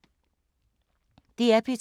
DR P2